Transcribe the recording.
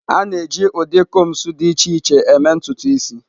A na-eji ụdị combs dị iche iche eme ntutu isi.